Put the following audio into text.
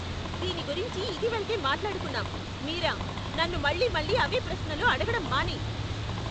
దీని గురించి ఇదివరకే మాట్లాడుకున్నాం, మీరా! నన్ను మళ్లీ మళ్లీ అవే ప్రశ్నలు అడగడం మానేయ్.